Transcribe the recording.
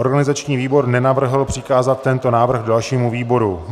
Organizační výbor nenavrhl přikázat tento návrh dalšímu výboru.